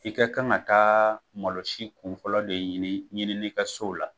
I ka kan ka taa malosi kunfɔlɔ de ɲini ɲininikɛsow la,